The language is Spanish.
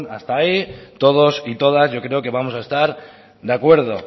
hasta ahí todos y todas yo creo que vamos a estar de acuerdo